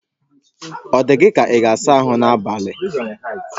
O dị gị ka ị ga-asa ahụ n'abalị a?